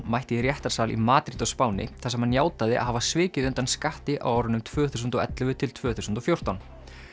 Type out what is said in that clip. mætti í réttarsal í Madríd á Spáni þar sem hann játaði að hafa svikið undan skatti á árunum tvö þúsund og ellefu til tvö þúsund og fjórtán